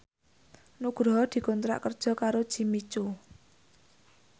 Nugroho dikontrak kerja karo Jimmy Coo